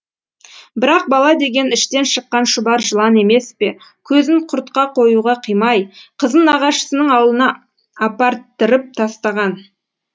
бірақ бала деген іштен шыққан шұбар жылан емес пе көзін құрта қоюға қимай қызын нағашысының аулына апарттырып тастаған